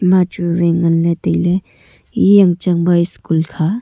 ma chu vai nganley tailey e yang chang ba school kha.